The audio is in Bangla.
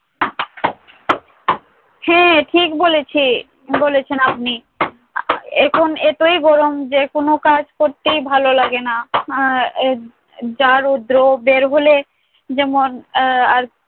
হ্যাঁ ঠিক বলেছে~ ঠিক বলেছেন আপনি। আহ এখন এতই গরম যে কোন কাজ করতেই ভালো লাগে না। আহ এব~ যা রৌদ্র বের হলে যেমন আহ আর